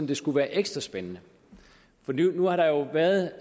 det skulle være ekstra spændende for nu har der jo været